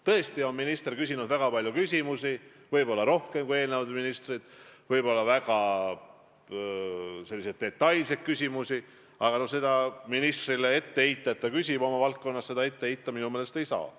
Tõesti, minister on küsinud väga palju küsimusi, võib-olla rohkem kui eelmised ministrid, võib-olla väga detailseid küsimusi, aga seda ministrile ette heita, et ta küsib oma valdkonna kohta, minu meelest ei saa.